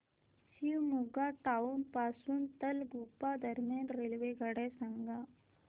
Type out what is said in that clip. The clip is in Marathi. शिवमोग्गा टाउन पासून तलगुप्पा दरम्यान रेल्वेगाड्या सांगा